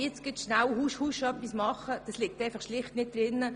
Jetzt «husch, husch» etwas zu machen, liegt schlicht nicht drin.